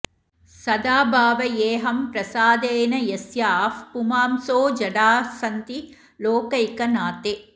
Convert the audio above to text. सदा भावयेऽहं प्रसादेन यस्याः पुमांसो जडाः सन्ति लोकैकनाथे